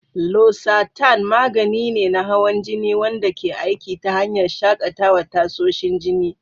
Losartan magani ne na hawan jini wanda ke aiki ta hanyar shakatawa tasoshin jini.